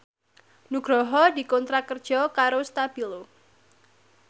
Nugroho dikontrak kerja karo Stabilo